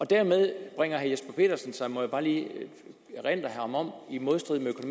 dermed bringer herre jesper petersen sig det må jeg bare lige erindre ham om i modstrid